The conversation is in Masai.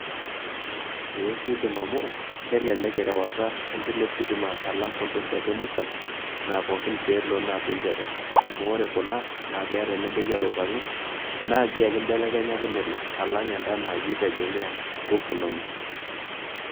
Ee kiidim amu kelelek erewata e indila ositima alang' kunda oshiake musan naa pookin pee elo naa pee impedal amu ore kuna naa keeta enibaiki oloipang'i naa orgia ake imbelekenyaki nelo alang' enda naa iyie ake itegemea nguvu inonok.